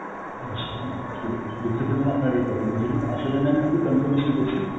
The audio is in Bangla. হ্যাঁ সে~ সে~ দুক্ষিত mam আপনার এই problem এর জন্য, আসলে mam একটু confirmation করছি